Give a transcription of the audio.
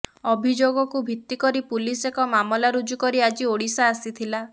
ଅଭିଯୋଗକୁ ଭିତ୍ତିକରି ପୁଲିସ ଏକ ମାମଲା ରୁଜୁ କରି ଆଜି ଓଡ଼ିଶା ଆସିଥିଲା